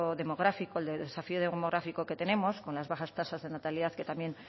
demográfico el desafío demográfico que tenemos con las bajas tasas de natalidad que también